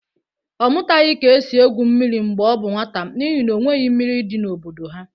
Ọ mụtaghị ka esi egwu mmiri mgbe ọ bụ nwata n'ihi n'onweghị mmiri dị n'obodo ha.